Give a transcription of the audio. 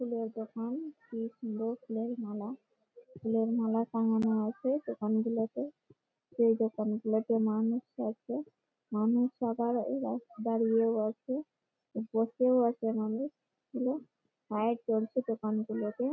ফুলের দোকান কি সুন্দর ফুলের মালা সুন্দর ফুলের মালা টাঙানো আছে দোকানগুলোতে ।সেই দোকানগুলোতে মানুষ আছে মানুষ আবার দাঁড়িয়ে আছে। বসেও আছে মানুষ গুলো ।লাইট জ্বলছে দোকান গুলোতে ।